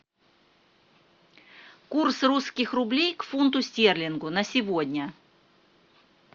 курс русских рублей к фунту стерлингу на сегодня